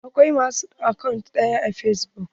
Akwai ma su akant ɗaya a fesbuk.